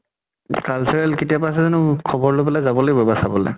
cultural কেতিয়াৰ পা আছে জানো? খবৰ লৈ পেলে যাব লাগিব এবাৰ চাবলে।